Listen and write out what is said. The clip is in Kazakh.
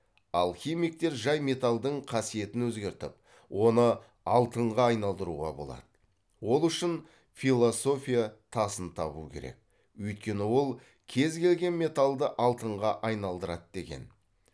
алхимиктер жай металдың қасиетін өзгертіп оны алтынға айналдыруға болады ол үшін философия тасын табу керек өйткені ол кез келген металды алтынға айналдырады деген